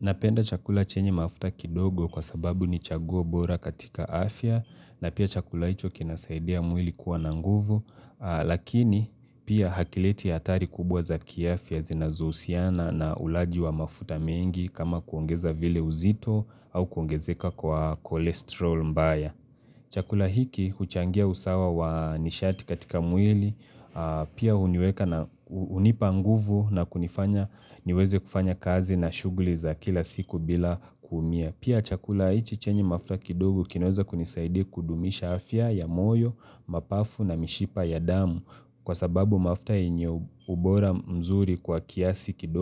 Napenda chakula chenye mafuta kidogo kwa sababu ni chaguo bora katika afya na pia chakula hicho kinasaidia mwili kuwa na nguvu lakini pia hakileti hatari kubwa za kiafya zinazousiana na ulaji wa mafuta mengi kama kuongeza vile uzito au kuongezeka kwa kolesterol mbaya. Chakula hiki huchangia usawa wa nishati katika mwili, pia huniweka na hunipa nguvu na kunifanya niweze kufanya kazi na shuguli za kila siku bila kuumia. Chakula hiki huchangia usawa wa nishati katika mwili, pia huniweka na hunipa nguvu na kunifanya niweze kufanya kazi na shughuli za kila siku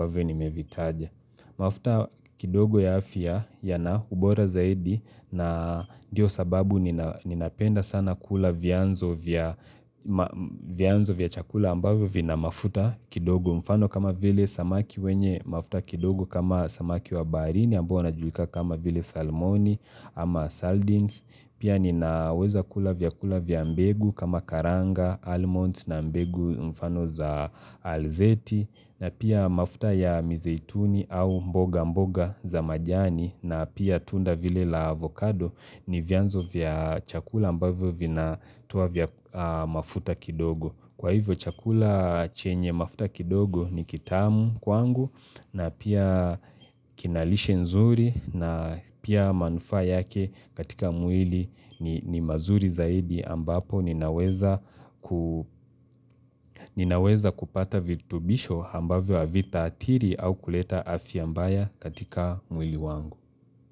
bila kuumia. Mafuta kidogo ya afya yana ubora zaidi na ndio sababu ninapenda sana kula vyanzo vya chakula ambavyo vina mafuta kidogo mfano kama vile samaki wenye mafuta kidogo kama samaki wa baharini ambayo wanajulikana kama vile salmoni ama saldins. Pia ninaweza kula vyakula vya mbegu kama karanga, almond na mbegu mfano za alzeti na pia mafuta ya mizeituni au mboga mboga za majani na pia tunda vile la avocado ni vyanzo vya chakula ambavyo vina toa vyakula mafuta kidogo Kwa hivyo chakula chenye mafuta kidogo ni kitamu kwangu na pia kina lishe nzuri na pia manufaa yake katika mwili ni mazuri zaidi ambapo ninaweza kupata vitubisho ambavyo avitaatiri au kuleta afya mbaya katika mwili wangu.